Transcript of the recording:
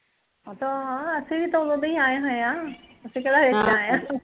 ਓਹ ਤਾਂ ਹਾਂ ਅਸੀ ਵੀਂ ਤਾਂ ਉਦੋਂ ਦੇ ਹੀਂ ਆਏ ਹੋਏ ਆ ਅਸੀਂ ਕਿਹੜਾਂ ਚ ਆਏ ਆ